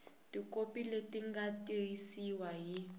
tikhopi leti nga tiyisiwa hi